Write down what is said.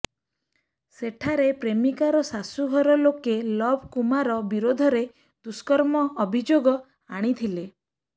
ସେଠାରେ ପ୍ରେମିକାର ଶାଶୂଘର ଲୋକେ ଲବ୍ କୁମାର ବିରୋଧରେ ଦୁଷ୍କର୍ମ ଅଭିଯୋଗ ଆଣିଥିଲେ